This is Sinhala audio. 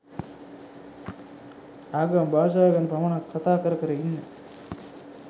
ආගම භාෂාව ගැන පමණක් කතා කරකර ඉන්න